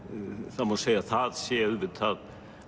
það má segja að það sé auðvitað